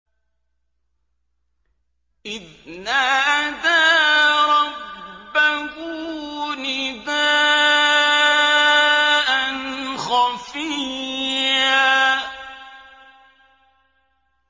إِذْ نَادَىٰ رَبَّهُ نِدَاءً خَفِيًّا